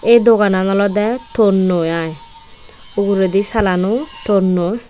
ey doganan olodey tonnoi aai uguredi salano tonnoi.